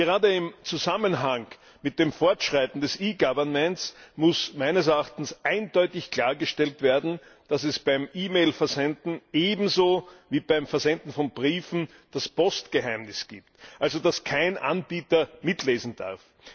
Gerade im Zusammenhang mit dem Fortschreiten des E Government muss meines Erachtens eindeutig klargestellt werden, dass beim E Mail Versenden ebenso wie beim Versenden von Briefen das Postgeheimnis gilt, also, dass kein Anbieter mitlesen darf.